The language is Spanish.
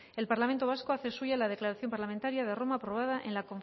el parlamento vasco hace suya la declaración parlamentario de roma aprobada en la